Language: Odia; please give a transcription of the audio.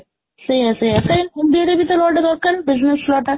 ସେଇଆ ସେଇଆ ସେ law ଟା ଦରକାର business law ଟା